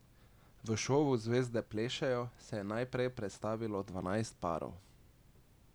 V šovu Zvezde plešejo se je najprej predstavilo dvanajst parov.